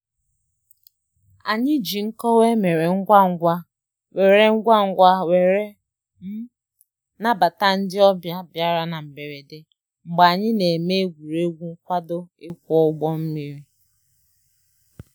Anyị ji nkọwa emere ngwa ngwa were ngwa ngwa were nabata ndi ọbịa bịara na mgberede mgbe anyị na-eme egwuregwu nkwado ịkwọ ụgbọ mmiri